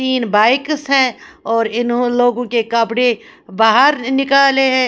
तीन बाइक्स हैऔर इनह लोगों के कपड़े बाहर निकाले हैं।